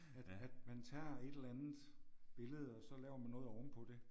At at man tager et eller andet billede og så laver man noget ovenpå det